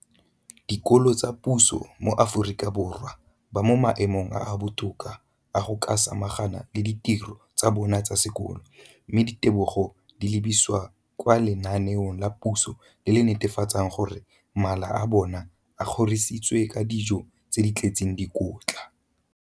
Dikolo tsa puso mo Aforika Borwa ba mo maemong a a botoka a go ka samagana le ditiro tsa bona tsa sekolo, mme ditebogo di lebisiwa kwa lenaaneng la puso le le netefatsang gore mala a bona a kgorisitswe ka dijo tse di tletseng dikotla.